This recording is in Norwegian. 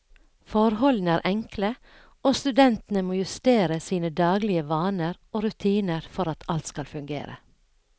Forholdene er enkle, og studentene må justere sine daglige vaner og rutiner for at alt skal fungere.